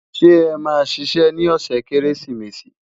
ṣé é má ṣiṣẹ ní ọsẹ kérésìmesì?